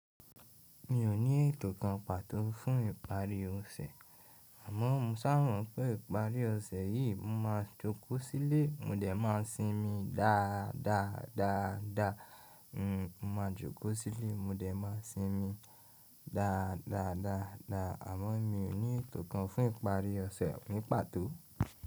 Mi ò ní ètò kan pàtó fún ìparí ọ̀sẹ̀, àmọ́ mo sà mọ̀ pé ìparí ọ̀sẹ̀ yìí mo máa jókòó sílé mo dẹ̀ má a sinmi dáadáa, dáadáa, dáadáa. N ò ma jókòó sílé mo dẹ̀ má a sinmi dáadáa, dáadáa, dáadáa, àmọ́ mi ò ní ètò kan fún ìparí ọ̀sẹ̀ ni pàtó.